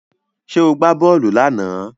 Ṣé ó gbá bọ́ọ̀lù lánàá?